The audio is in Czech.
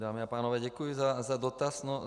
Dámy a pánové, děkuji za dotaz.